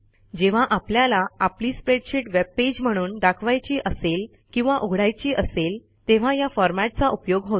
जेव्हा आपल्याला आपली स्प्रेडशीट वेबपेज म्हणून दाखवायची असेल किंवा उघडायची असेल तेव्हा या फॉरमॅटचा उपयोग होतो